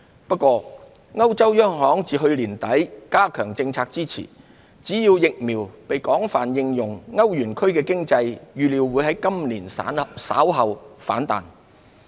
不過，歐洲央行自去年年底加強政策支持，只要疫苗被廣泛應用，歐元區經濟預料會在今年稍後反彈。